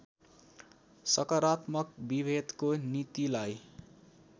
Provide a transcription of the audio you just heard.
सकारात्मक विभेदको नीतिलाई